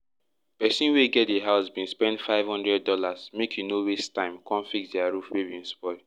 pesin wey get di house bin spend five hundred dollars make e no waste time come fix dia house roof wey bin spoil